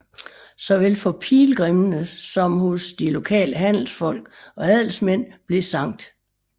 Såvel for pilgrimmene som hos de lokale handelsfolk og adelsmænd blev Skt